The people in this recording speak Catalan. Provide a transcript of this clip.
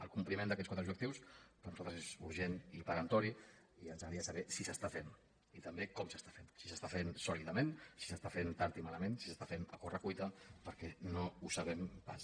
el compliment d’aquests quatre objectius per nosaltres és urgent i peremptori i ens agradaria saber si s’està fent i també com s’està fent si s’està fent sòlidament si s’està fent tard i malament si s’està fent a corre cuita perquè no ho sabem pas